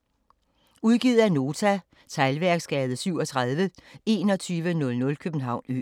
Udgivet af Nota Teglværksgade 37 2100 København Ø